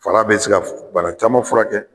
fara bɛ se ka bana caman furakɛ.